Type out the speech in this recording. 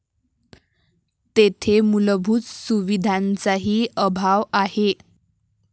तेथे मूलभूत सुविधांचाही अभाव आहे.